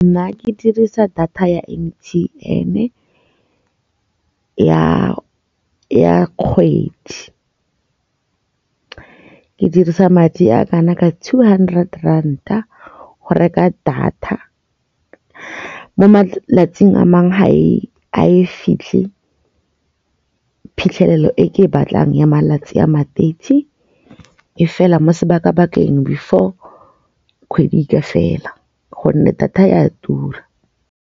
Nna ke dirisa data ya M_T_N ya kgwedi. Ke dirisa madi a kana ka two hundred ranta, go reka data mo malatsing a mangwe ha e a e fitlhe phitlhelelo e ke e batlang ya malatsi a mateisi e fela mo sebaka bakeng before kgwedi ka fela gonne data e a tura.